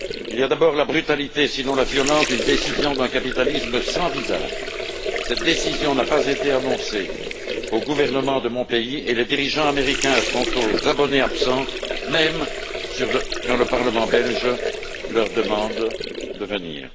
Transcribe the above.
Il y a d'abord la brutalité sinon la violence d'une décision d'un capitalisme sans visage cette décision n'a pas été annoncée au gouvernement de mon pays et les dirigeants américains sont aux abonnés absents, même quand le Parlement belge leur demande de venir.